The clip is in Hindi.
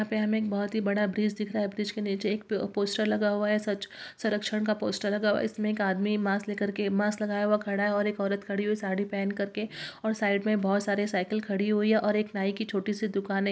यहाँ पे हमें एक बहुत बड़ा ब्रिज दिख रहा है | ब्रिज के नीचे एक प-पोस्टर लगा हुआ है स्वच्छ संरक्षण का पोस्टर लगा हुआ है | इसमें एक आदमी मास्क लेकर के मास्क लगाया हुआ खड़ा है और एक औरत खड़ी है साड़ी पहन करके और साइड में बहुत सारी साइकिल खड़ी हुई है और एक नाई की छोटी सी दुकान है।